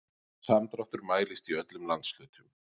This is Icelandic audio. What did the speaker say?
Samdráttur mælist í öllum landshlutum